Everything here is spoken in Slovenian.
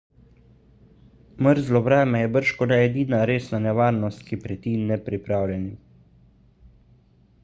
mrzlo vreme je bržkone edina resna nevarnost ki preti nepripravljenim